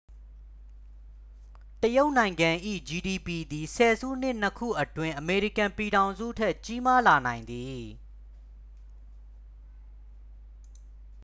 တရုတ်နိုင်ငံ၏ ဂျီဒီပီ သည် ဆယ်စုနှစ်နှစ်ခုအတွင်း အမေရိကန်ပြည်ထောင်စုထက် ကြီးမားလာနိုင်သည်